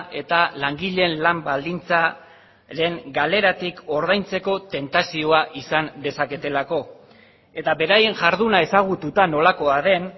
eta langileen lan baldintzaren galeratik ordaintzeko tentazioa izan dezaketelako eta beraien jarduna ezagututa nolakoa den